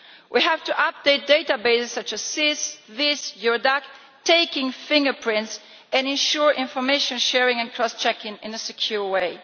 We have to update databases such as SIS, VIS and Eurodac, taking fingerprints and ensuring information sharing and cross checking in a secure way.